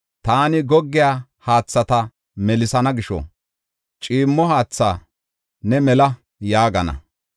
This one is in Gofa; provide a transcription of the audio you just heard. Taani goggiya haathata melisana gisho ciimmo haatha, ‘Ne mela’ yaagana.